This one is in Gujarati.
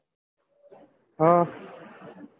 હમ